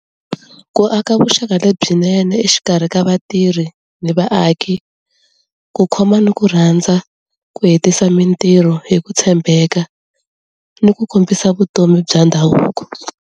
Ku aka vuxaka lebyinene exikarhi ka vatirhi ni vaaki, ku khoma ni ku rhandza, ku hetisa mintirho hi ku tshembeka, ni ku kombisa vutomi bya ndhavuko.